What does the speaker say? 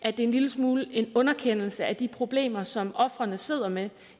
det en lille smule er en underkendelse af de problemer som ofrene sidder med